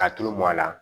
Ka tulu mɔn a la